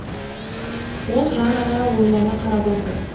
ол жаннаға ойлана қарап отыр